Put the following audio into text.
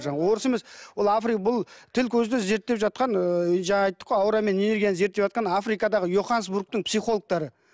жаңағы орыс емес ол бұл тіл көзден зерттеп жатқан ыыы жаңа айттық қой аура мен энергияны зерттеватқан африкадағы йоханнесбургтің психологтары